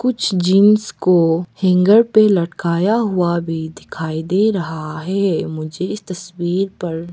कुछ जीन्स को हैंगर पे लटकाया हुआ भी दिखाई दे रहा है मुझे इस तस्वीर पर--